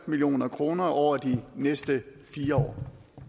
million kroner over de næste fire år